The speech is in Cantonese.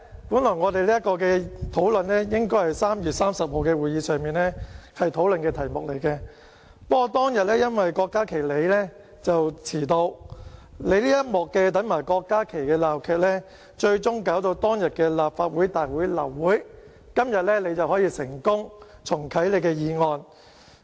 因為這項議案本來應該是在3月30日會議上討論的，不過當天因為你遲到，因為你這一幕"等埋郭家麒議員"的鬧劇，最終令當天立法會大會流會，而今天你可以成功重啟你的議案。